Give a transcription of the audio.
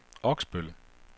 Oksbøl